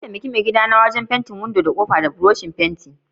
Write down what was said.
Na taimake maigida na da yin fentin windodi da kofofin mu da buroshin fenti.